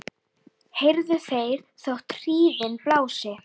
heyrðu þeir þótt hríðin blási